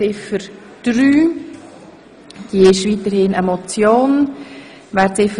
Ziffer 3 bleibt als Motion bestehen.